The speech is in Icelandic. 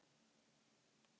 Já, það er til.